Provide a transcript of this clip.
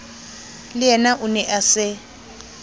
leyena o ne a se